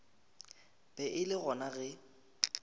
be e le gona ge